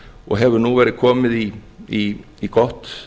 og hefur nú verið komið í gott